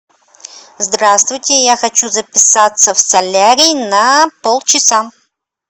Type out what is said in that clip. здравствуйте я хочу записаться в солярий на пол часа